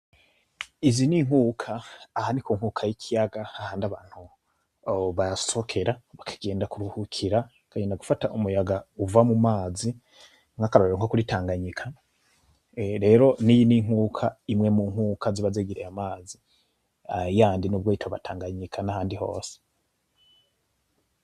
Izi n'inkuka aha ni kunkuka y'ikiyaga hamwe abantu basohokera bakagenda kuruhukira bakagenda gufata umuyanga uva mu mazi nk'akarorero nko kuri Tanganyika rero niyi ninkuka imwe munkuka ziba zigereye amazi yandi nubwo atoba ari Tanganyika nahandi hose.